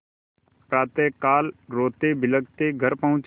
प्रातःकाल रोतेबिलखते घर पहुँचे